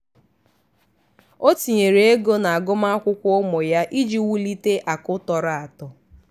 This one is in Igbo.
ọ tinyere ego na agụmakwụkwọ ụmụ ya iji wulite akụ tọrọ atọ.